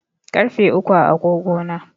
Ƙarfe uku a agogo na.